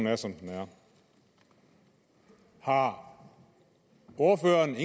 er som den er har ordføreren